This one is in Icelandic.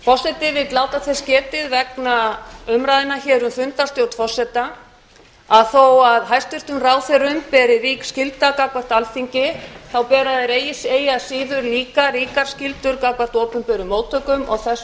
forseti vill láta þess getið vegna umræðna hér um fundarstjórn forseta að þó að hæstvirtum ráðherrum beri rík skylda gagnvart alþingi bera þeir eigi að síður líka ríkar skyldur gagnvart opinberum móttökum og þess